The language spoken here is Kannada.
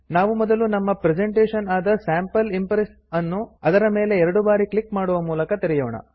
ನಾವು ಮೊದಲು ನಮ್ಮ ಪ್ರೆಸೆಂಟೇಶನ್ ಆದ ಸ್ಯಾಂಪಲ್ ಇಂಪ್ರೆಸ್ ಅನ್ನು ಅದರ ಮೇಲೆ ಎರಡು ಬಾರಿ ಕ್ಲಿಕ್ ಮಾಡುತ್ತ ತೆರೆಯೋಣ